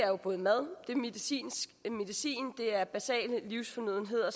jo både mad medicin og basale livsfornødenheder